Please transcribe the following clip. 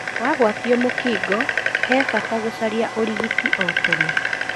Wagwatio mũkingo nĩ bata gũcaria ũrigiti o tene.